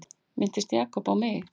Minntist Jakob á mig?